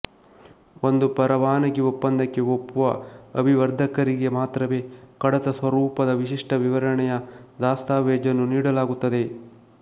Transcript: ಒಂದು ಪರವಾನಗಿ ಒಪ್ಪಂದಕ್ಕೆ ಒಪ್ಪುವ ಅಭಿವರ್ಧಕರಿಗೆ ಮಾತ್ರವೇ ಕಡತ ಸ್ವರೂಪದ ವಿಶಿಷ್ಟ ವಿವರಣೆಯ ದಸ್ತಾವೇಜನ್ನು ನೀಡಲಾಗುತ್ತದೆ